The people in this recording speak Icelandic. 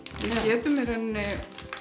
við getum í rauninni